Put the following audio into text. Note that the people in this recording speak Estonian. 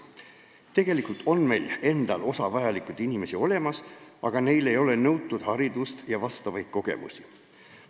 Tegelikult on meil endal osa vajalikke inimesi olemas, aga neil ei ole nõutud haridust ega vastavaid kogemusi.